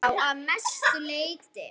Já, að mestu leyti.